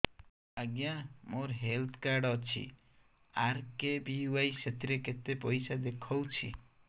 ଆଜ୍ଞା ମୋର health card ଅଛି ଆର୍.କେ.ବି.ୱାଇ ସେଥିରେ କେତେ ପଇସା ଦେଖଉଛି